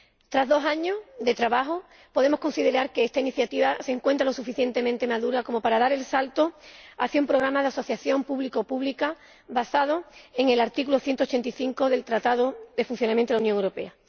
Tras dos años de trabajo, podemos considerar que esta iniciativa se encuentra lo suficientemente madura como para dar el salto hacia un programa de asociación público pública basado en el artículo 185 del Tratado de Funcionamiento de la Unión Europea.